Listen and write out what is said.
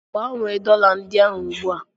Gbanwee dollar ndị a ugbu a!